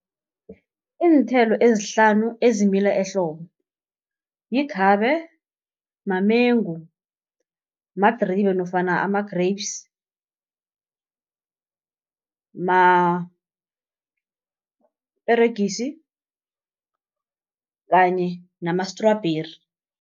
Iinthelo ezihlanu ezimila ehlobo, yikhabe, mamengu, madribe nofana ama-grapes, maperegisi kanye namastrubheri.